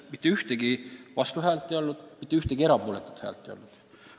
Mitte ühtegi vastuhäält ei olnud, mitte ühtegi erapooletut ei olnud.